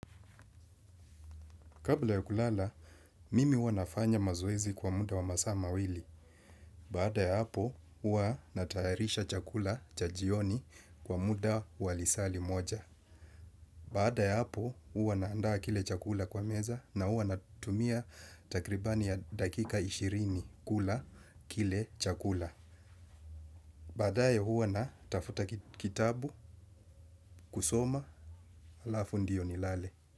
Kabla ya kulala, mimi huwa nafanya mazoezi kwa muda wa masa mawili. Baada ya hapo, uwa natayarisha chakula cha jioni kwa muda wa lisali moja. Baada ya hapo, uwa naandaa kile chakula kwa meza na uwa natumia takribani ya dakika ishirini kula kile chakula. Baada ye uwa natafuta kitabu kusoma alafu ndiyo nilale.